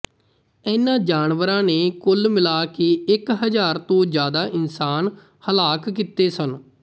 ਇਨ੍ਹਾਂ ਜਾਨਵਰਾਂ ਨੇ ਕੁੱਲ ਮਿਲਾ ਕੇ ਇੱਕ ਹਜ਼ਾਰ ਤੋਂ ਜ਼ਿਆਦਾ ਇਨਸਾਨ ਹਲਾਕ ਕੀਤੇ ਸਨ